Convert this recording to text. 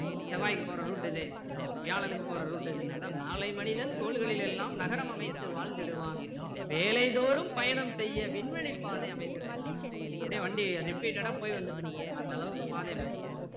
செவ்வாய்க்கு போற route இது வியாழனுக்கு போற route இது அதான் நாளை மனிதன் கோள்களில் எல்லாம் நகரம் அமைத்து வாழ்ந்திடுவான் வேலை தோறும் பயணம் செய்ய விண்வெளிப் பாதை அமைத்திடுவான் அப்படியே வண்டி repeated டா போய் வந்துட்டு இருக்கும் அந்த அளவுக்கு பாதை அமைத்திடுவான்